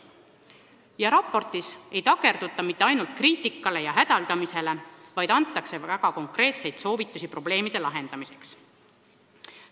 Selles raportis ei keskenduta ainult kriitikale ja hädaldamisele, vaid antakse väga konkreetseid soovitusi probleemide lahendamiseks.